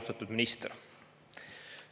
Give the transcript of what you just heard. Austatud minister!